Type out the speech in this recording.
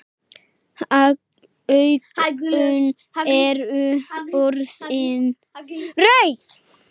Augun eru orðin rauð.